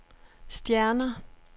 stjerner